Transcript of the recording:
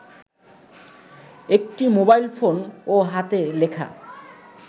একটি মোবাইলফোন ও হাতে লেখা